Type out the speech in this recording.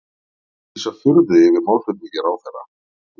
Lýsa furðu yfir málflutningi ráðherra